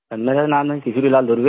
sir मेरा नाम है किशोरीलाल दूर्वे